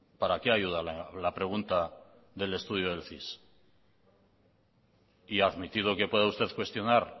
para qué ayuda la pregunta del estudio del cis y admitido que pueda usted cuestionar